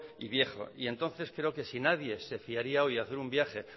y viejo y entonces creo que si nadie se fiaría hoy a hacer un viaje